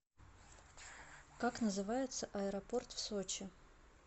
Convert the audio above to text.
как называется аэропорт в сочи